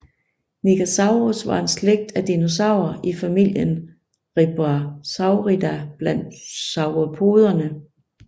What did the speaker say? Nigersaurus var en slægt af dinosaurer i familien Rebbachisauridae blandt sauropoderne